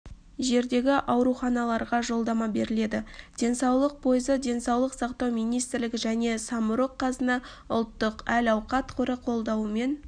жердегі ауруханаларға жолдама беріледі денсаулық пойызы денсаулық сақтау министрлігі және самұрық-қазына ұлттық әл-ауқат қоры қолдауымен